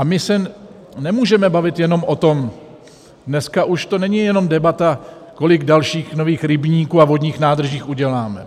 A my se nemůžeme bavit jenom o tom, dneska už to není jenom debata, kolik dalších nových rybníků a vodních nádrží uděláme.